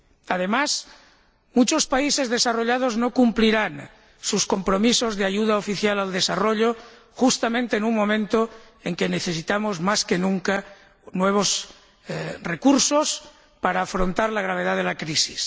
Además, muchos países desarrollados no cumplirán sus compromisos de ayuda oficial al desarrollo, justamente en un momento en que necesitamos más que nunca nuevos recursos para afrontar la gravedad de la crisis.